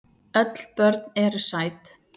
Öll börn eru sæt.